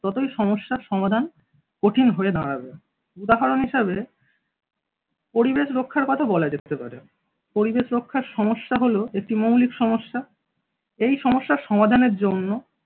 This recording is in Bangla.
ততোই সমস্যার সমাধান কঠিন হয়ে দাঁড়াবে উদাহরণ হিসাবে পরিবেশ রক্ষার কথা বলা যেতে পারে। পরিবেশ রক্ষার সমস্যা হলো একটি মৌলিক সমস্যা এই সমস্যা সমাধানের জন্য